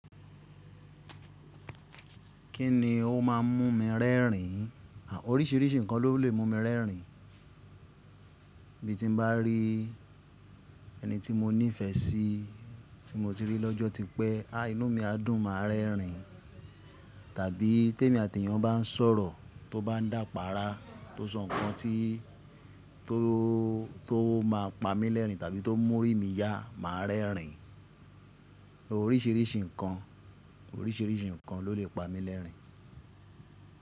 Kí ni ó máà ń mú mi rẹ́rìn? Àn oríṣiríṣi nǹkan ló lè mú mi rẹ́rìn. Bí ti n bá rí ẹni tí mo ní ìfẹ́ sí tí mo ti rí lọ́jọ́ tí pẹ́, a inú mi á dùn máa rẹ́rìn. Tàbí tí èmi àti èèyàn bá ń sọ̀rọ̀, tó bá dàpa ara, tó sọ nǹkan tí tó tó máa pa mí lẹ́rìn tàbí tó múrí mi yá, màá rẹ́rìn. Oríṣiríṣi nǹkan, oríṣiríṣi nǹkan ló lè pa mí lẹ́rìn.